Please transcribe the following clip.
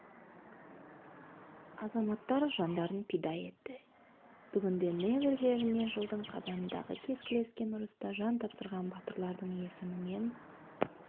азаматтар жандарын пида етті бүгінде невель жеріне жылдың қазанындағы кескілескен ұрыста жан тапсырған батырлардың есімімен